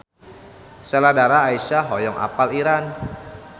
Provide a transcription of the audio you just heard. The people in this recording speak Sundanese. Sheila Dara Aisha hoyong apal Iran